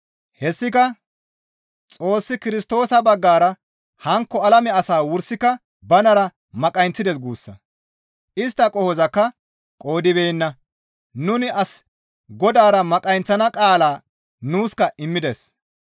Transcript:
Hessika Xoossi Kirstoosa baggara hankko alame asaa wursika banara maqayinththides guussa; istta qohozakka qoodibeenna; nuni as Godaara maqayinththana qaala nuuska immides.